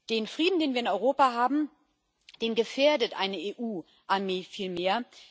Den Frieden, den wir in Europa haben, der gefährdet eine EU Armee vielmehr.